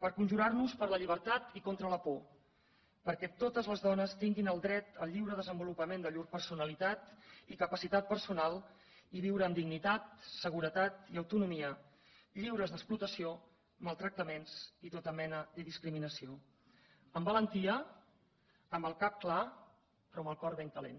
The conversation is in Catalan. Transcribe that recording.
per conjurar nos per la llibertat i contra la por perquè totes les dones tinguin el dret al lliure desenvolupament de llur personalitat i capacitat personal i viure amb dignitat seguretat i autonomia lliures d’explotació maltractaments i tota mena de discriminació amb valentia amb el cap clar però amb el cor ben calent